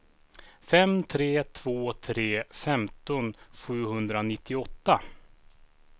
fem tre två tre femton sjuhundranittioåtta